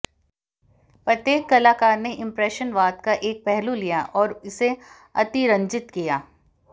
प्रत्येक कलाकार ने इंप्रेशनवाद का एक पहलू लिया और इसे अतिरंजित किया